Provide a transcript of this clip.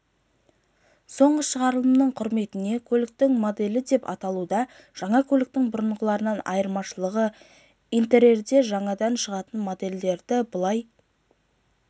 соңғы шығарылмың құрметіне көліктің моделі деп аталуда жаңа көліктің бұрынғыларынан айырмашылығы интерьерде жаңадан шығатын модельдерді былай